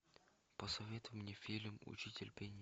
посоветуй мне фильм учитель пения